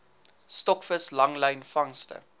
stokvis langlyn vangste